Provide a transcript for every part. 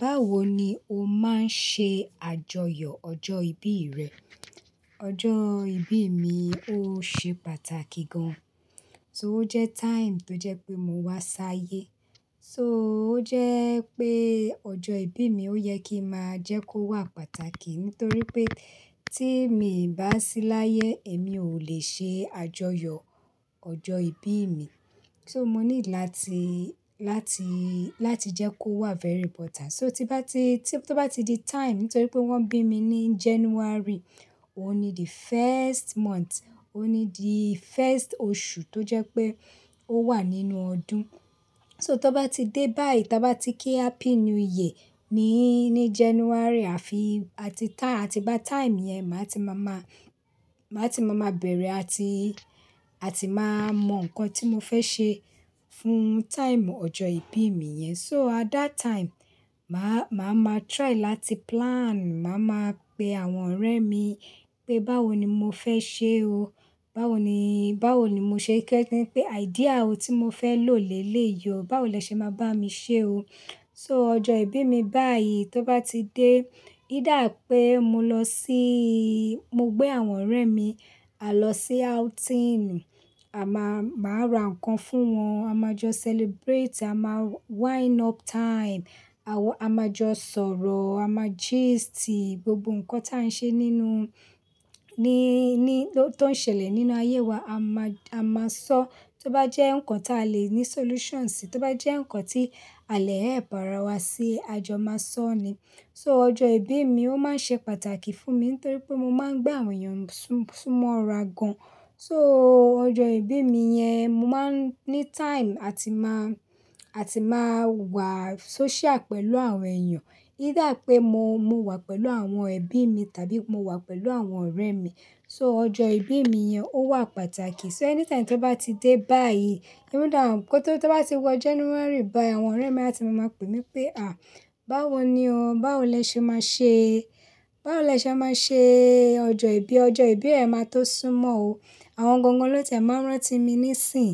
Báwo ni o máa ń ṣe àjọyọ̀ ọjọ́ ìbí rẹ? Ọjọ́ ìbí mi ó ṣe pàtàkì gan-an, so ó jẹ́ time tó jẹ́ pé mo wá s'áyé. So ó jẹ́ pé ọjọ́ ìbí mi ó yẹ kín máa jẹ́ kó wà pàtàkì nítorí pé tí mi ò bá sí láyé èmi ò lè ṣe àjọyọ̀ ọjọ́ ìbí mi. So mo nílò láti, láti, láti jẹ́ kó wà very important. So tí bá ti, tí ó bá ti di time, nítorí pé wọ́n bí mi ní January, òun ni the first month, òun ni the first oṣù tó jẹ́ pé ó wà nínú ọdún. So tó bá ti dé báyìí, ta bá ti kí happy new year ní, ní January àfi, àti tá, àtigbá time yẹn máa ti má má, má ti má má bẹ̀rẹ̀ àti, àti má mọ nǹkan tí mo fẹ́ ṣe fún time ọjọ́ ìbí mi yẹn. So at that time, màá, màá ma try láti plan, màá ma pe àwọn ọ̀rẹ́ mi pé báwo ni mo fẹ́ ṣe o. Báwo ni, báwo ni mò ṣe fe se pé idea wo tí mo fẹ́ lò lèlèyi o, báwo lẹ ṣe máa bá mi ṣe o. So ọjọ́ ìbí mi báyìí tó bá ti dé, either pé mo lọ síí, mo gbé àwọn ọ̀rẹ́ mi a lọ sí outing, à má, màá ra nǹkan fún wọn, a máa jọ celebrate, a máa wind up time, àwọ, a máa jọ sọ̀rọ̀, a máa gist gbogbo nǹkan tí à ń ṣe nínú, ní, ní, tó ń ṣẹlẹ̀ nínú ayé wa, a má, a máa sọ. Tó bá jẹ́ nǹkan tí a lè ní solution sí, tó bá jẹ́ nǹkan tí a lẹ̀ ẹ̀ help àrà wa sí, à jọ máa sọ ni. So ọjọ́ ìbí mi ó máa ń ṣe pàtàkì fún mi nítorí pé mo máa ń gbà àwọn èèyàn sún, súnmọ́ ra gan-an. So ọjọ́ ìbí mi yẹn, mo máa ń ní time àti má, àti má wà social pẹ̀lú àwọn èèyàn. Either pé mo, mo wà pẹ̀lú àwọn ẹbí mi tàbí mo wà pẹ̀lú àwọn ọ̀rẹ́ mi. So ọjọ́ ìbí mi yẹn ó wà pàtàkì. So anytime tó bá ti dé báyìí, even though pé tó bá ti wọ January báyìí, àwọn ọ̀rẹ́ mi a ti máa máa pè mí pé "à, báwo ni o, báwo lẹ ṣe máa ṣe, báwo lẹ ṣe máa ṣe ọjọ́ ìbí, ọjọ́ ìbí rẹ máa tó súnmọ́ o." Àwọn gangan ló tiẹ̀ máa ń rántí mi níìsín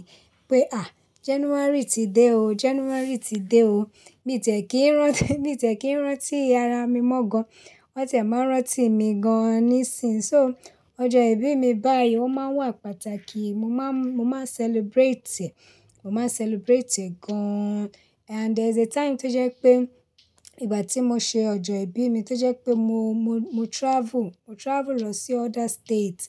pé "à, January ti dé o, January ti dé o." Mi o tiẹ̀ kí ń rántí, mi tiẹ̀ kí ń rántí ara mi mọ́ gan-an, wọ́n tiẹ̀ máa ń rántí mi gan-an níìsín. So ọjọ́ ìbí mi báyìí ó máa ń wà pàtàkì. Mo máa ń, mo máa ń celebrate, mo máa ń celebrate gan-an. And there's a time tó jẹ́ pé ìgbà tí mo ṣe ọjọ́ ìbí mi tó jẹ́ pé mo, mo, mo travel, mo travel lọ sí other state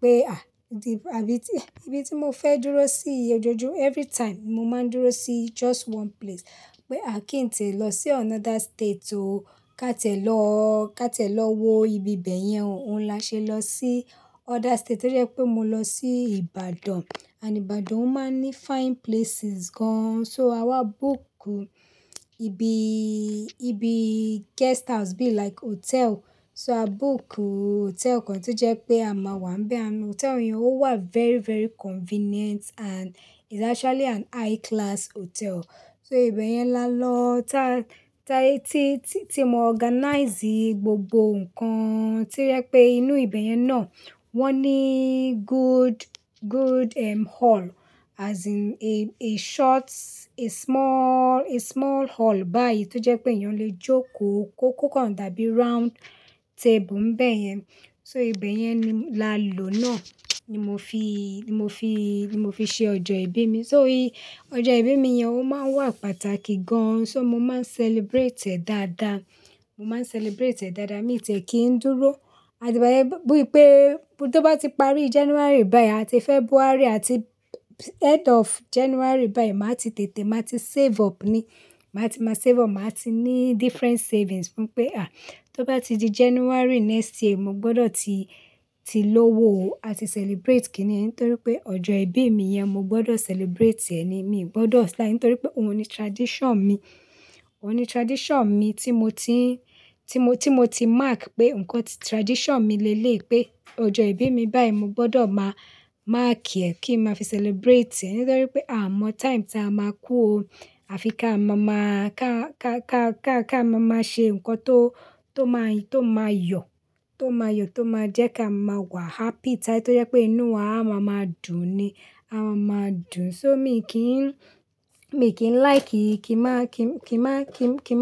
pé à, bí i, àbí tí, ibi tí mo fẹ́ dúró sí ojoojú every time, mo máa ń dúró sí just one place. Pé à kí n tìe lọ sí another state o. Ka tiẹ̀ lọ, ka tiẹ̀ lọ wo ibi bẹ́ẹ̀ yẹn o. Òun la ṣe lọ sí other state to je pé mo lọ sí Ìbàdàn. And Ìbàdàn ó máa ń ní fine places gan-an. So a wá book ibi, ibi guest house be like hotel. So a book hotel kan tó jẹ́ pé a máa wà ń bẹ́ẹ̀ hán. Hotel yẹn ó wà very, very convenient and it's actually an high class hotel. So ibẹ̀ yẹn la lọ. Ta, ta tí, tí, tí mo organize gbogbo nǹkan to jẹ pé inú ibẹ̀ yẹn náà, wọ́n ní good, good, um, hall as in a, a short, a small, a small hall báyìí tó jẹ́ pé èèyàn lè jókòó. Kó kò kan dàbí round table n'bẹ́yẹn. So ibẹ̀yẹn ni la lò náà ni mo fi, ni mo fi, ni mo fi ṣe ọjọ́ ìbí mi. So ọjọ́ ìbí mi yẹn ó máa ń wà pàtàkì gan-an. So mo máa ń celebrate ẹ̀ dáadáa. Mo máa ń celebrate rẹ̀ dáadáa. Mi tiẹ̀ kí ń dúró, àti igbayen, bí i pé tó bá ti parí January báyìí àti February àti end of January báyìí, màá ti tètè, màá ti save up ni. Màá ti má save up, màá ti ní different savings fún pé à, tó bá ti di January next year, mo gbọdọ̀ ti, ti lówó o. A ti celebrate kíni, nítorí pé ọjọ́ ìbí mi yẹn mo gbọdọ̀ celebrate rẹ̀ ni. Mi ò gbọdọ̀ sly, nítorí pé òun ni tradition mi. Òun ni tradition mi tí mo ti ń, tí mo, tí mo ti mark pé nǹkan tí tradition mi lèlèyi pé ọjọ́ ìbí mi báyìí mo gbọdọ̀ má mark rẹ̀ kí n máa fi celebrate rẹ̀. Nítorí pé a mọ time tí a máa kú o. A fi ká ma má, ká, ká, ká, ká, ká ma máa ṣe nǹkan tó, tó máa y, tó máa yọ̀, tó máa yọ̀, tó máa jẹ́ ká máa wà happy. Time tó jẹ́ pé inú wa a máa máa dùn ni, a máa máa dùn. So mi kí ń, mi kì í like kí, kí n má, kí, kí má, kí, kí n má.